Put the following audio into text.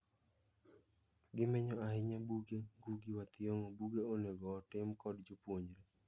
Gimenyo ahiny abuge Ngugi Wa Thiong'o buge onego otim kod jopuonjre.